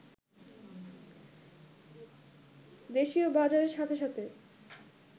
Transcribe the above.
দেশীয় বাজারের সাথে সাথে